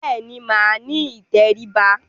Bẹ́ẹ̀ ni, màá ní ìtẹríba.